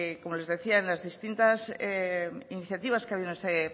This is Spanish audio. que como les decía en las distintas iniciativas que ha habido en este